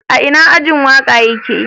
Ina ajin waka ya ke?